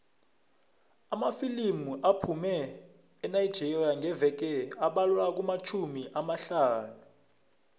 amafilimu aphuma enigeria ngeveke abalelwa kumatjhumi amahlanu